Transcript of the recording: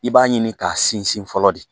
I b'a ɲini k'a sinsin fɔlɔ de